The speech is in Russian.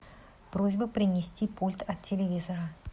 просьба принести пульт от телевизора